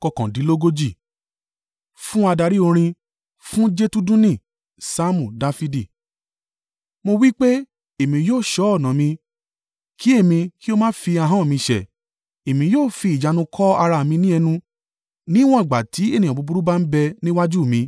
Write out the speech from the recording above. Fún adarí orin. Fún Jedutuni. Saamu Dafidi. Mo wí pé, “Èmi yóò ṣọ́ ọ̀nà mi kí èmi kí ó má fi ahọ́n mi ṣẹ̀; èmi yóò fi ìjánu kó ara mi ní ẹnu níwọ̀n ìgbà tí ènìyàn búburú bá ń bẹ ní iwájú mi.”